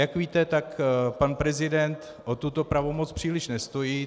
Jak víte, tak pan prezident o tuto pravomoc příliš nestojí.